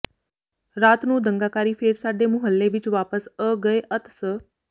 ਰਾਤ ਨੂੰ ਦੰਗਾਕਾਰੀ ਫੇਰ ਸਾਡੇ ਮੁਹਲੇ ਵਿੱਚ ਵਾਪਸ ਅ ਗਏ ਅਤ ਸ